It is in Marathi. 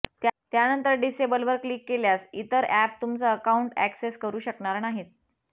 त्यानंतर डिसेबलवर क्लिक केल्यास इतर अॅप तुमचं अकाऊंट अॅक्सेस करू शकणार नाहीत